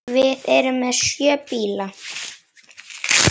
Við erum með sjö bíla.